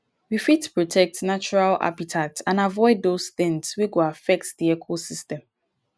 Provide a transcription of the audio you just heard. we fit protect natural habitat and avoid those things wey go affect di ecosystem